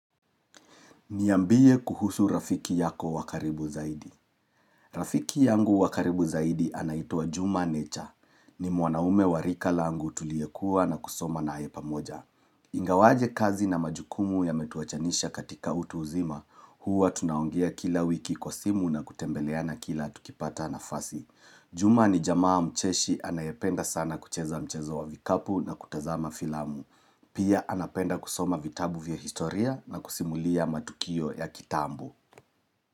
Niambie kuhusu rafiki yako wa karibu zaidi. Rafiki yangu wa karibu zaidi anaitwa Juma nature. Ni mwanaume warika langu tuliyekua na kusoma naye pamoja. Ingawaje kazi na majukumu yametuachanisha katika utu uzima, huwa tunaongea kila wiki kwa simu na kutembeleana kila tukipata nafasi. Juma ni jamaa mcheshi anayependa sana kucheza mchezo wa vikapu na kutazama filamu. Pia anapenda kusoma vitabu vya historia na kusimulia matukio ya kitambo.